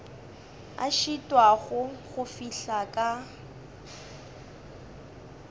a šitwago go fihla ka